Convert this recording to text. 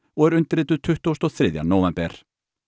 og er undirrituð tuttugasta og þriðja nóvember